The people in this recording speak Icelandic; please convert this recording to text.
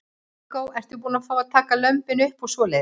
Viggó: Ertu búin að fá að taka lömbin upp og svoleiðis?